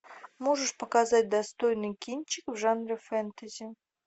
можешь показать достойный кинчик в жанре фэнтези